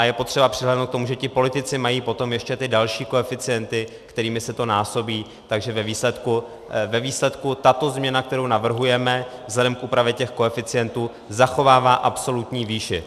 A je potřeba přihlédnout k tomu, že ti politici mají potom ještě ty další koeficienty, kterými se to násobí, takže ve výsledku tato změna, kterou navrhujeme, vzhledem k úpravě těch koeficientů, zachovává absolutní výši.